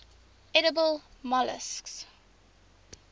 edible molluscs